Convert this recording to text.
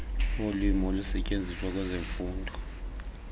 wolwimi olusetyenziswa kwezemfundo